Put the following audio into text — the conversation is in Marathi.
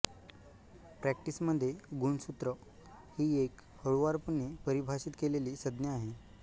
प्रॅक्टिसमध्ये गुणसूत्र ही एक हळूवारपणे परिभाषित केलेली संज्ञा आहे